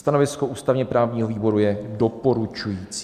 Stanovisko ústavně-právního výboru je doporučující.